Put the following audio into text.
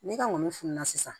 Ne ka ŋɔni fununa sisan